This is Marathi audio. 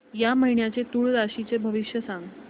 या महिन्याचं तूळ राशीचं भविष्य सांग